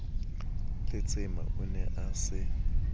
letsema o ne a se